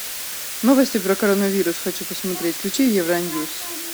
новости про коронавирус хочу посмотреть включи евроньюс